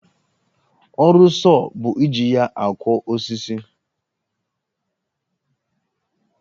Ọrụ sọọ bụ iji ya akwọ osisi